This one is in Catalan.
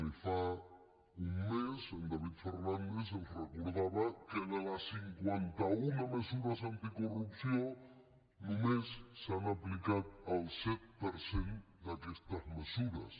ni fa un mes en david fernàndez ens recordava que de les cinquanta una mesures anticorrupció només se n’ha aplicat el set per cent d’aquestes mesures